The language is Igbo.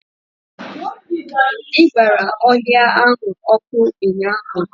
I gbara ọhịa ahụ ọkụ ụnyaahụ.